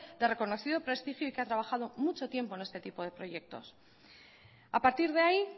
de reconocido prestigio y que ha trabajado mucho tiempo en este tipo de proyectos a partir de ahí